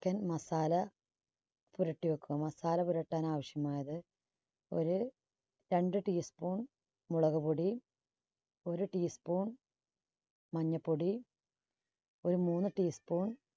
chicken masala പുരട്ടി വെക്കുക. masala പുരട്ടാൻ ആവശ്യമായത് ഒരു രണ്ട് tea spoon മുളക് പൊടി, ഒരു tea spoon മഞ്ഞ പൊടി, ഒരു മൂന്ന് tea spoon